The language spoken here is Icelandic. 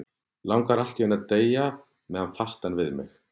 Langar allt í einu til að deyja með hann fastan við mig.